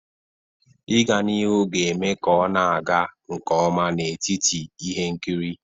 Ịga n'ihu ga-eme ka ọ na-aga nke ọma n'etiti ihe nkiri.